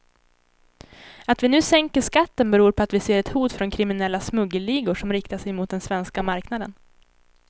Att vi nu sänker skatten beror på att vi ser ett hot från kriminella smuggelligor som riktar sig mot den svenska marknaden.